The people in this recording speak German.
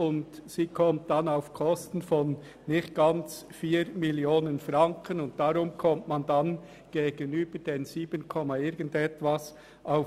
Damit kommt sie auf Kosten von nicht ganz 4 Mio. Franken, und das ergibt gegenüber den rund 7 Mio. Franken